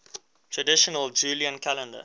traditional julian calendar